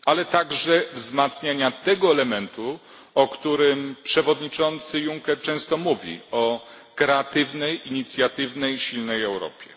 jak również wzmacniania tego elementu, o którym przewodniczący Juncker często mówi kreatywnej, inicjatywnej, silnej Europy.